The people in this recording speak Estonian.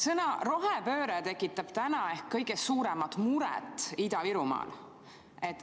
Sõna "rohepööre" tekitab täna ehk kõige suuremat muret Ida-Virumaal.